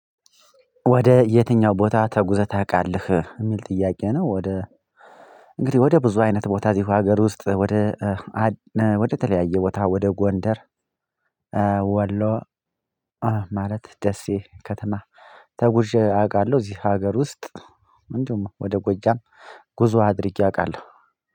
ወደ የትኛው ቦታ ተጉዘህ ታውቃለህ? የሚል ጥያቄ ነው ወደ እንግዲህ ወደ ብዙ አይነት ቦታ እዚህ ሀገር ውስጥ ወደ ወደ ተለያየ ቦታ ወደ ጎንደር ወሎ ማለት ደሴ ከተማ ተጉዤ አውቃለሁ እዚህ ሀገር ውስጥ እንዲሁም ወደ ጎጃም ጉዞ አድርጌ አውቃለሁ